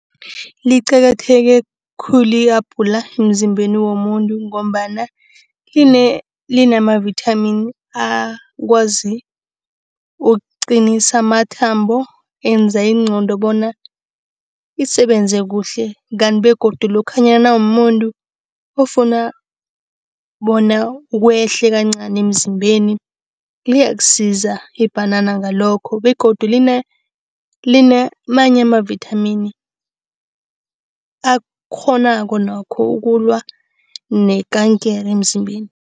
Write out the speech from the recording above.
Liqakatheke khulu i-abhula emzimbeni womuntu ngombana linamavithamini akwazi ukuqinisa amathambo. Enza ingqondo bona isebenze kuhle, kanti begodu lokhanyana nawumumuntu ofuna bona wehle kancani emzimbeni, liyakusiza ibhanana ngalokho. Begodu linamanye amavithamini akghonako nokho ukulwa nekankere emzimbeni.